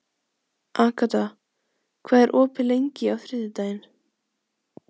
Agata, hvað er opið lengi á þriðjudaginn?